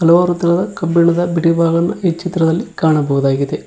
ಲೋಹ ಮತ್ತಿತರಹದ ಕಬ್ಬಿಣದ ಬಿಡಿ ಭಾಗವನ್ನು ಈ ಚಿತ್ರದಲ್ಲಿ ಕಾಣಬಹುದಾಗಿದೆ.